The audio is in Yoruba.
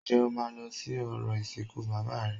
Ǹjẹ́ o máa lọ sí orò ìsìnkú bàbá rẹ